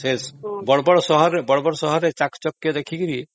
ବଡ ବଡ ସହରରେ ଚାକଚକ୍ୟ ଦେଖିକି..